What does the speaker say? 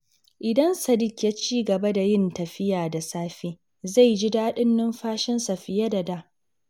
Idan Sadiq ya ci gaba da yin tafiya da safe, zai ji daɗin numfashinsa fiye da da.